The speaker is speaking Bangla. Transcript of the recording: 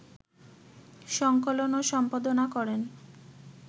সংকলন ও সম্পাদনা করেন